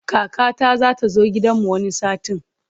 Kakata za ta zo gidanmu wani satin.